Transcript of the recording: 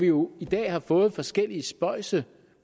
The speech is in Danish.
jo i dag har fået forskellige spøjse